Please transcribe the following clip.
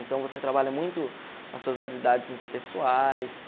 Então, você trabalha muito as suas habilidades interpessoais.